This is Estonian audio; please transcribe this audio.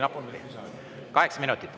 Kaheksa minutit.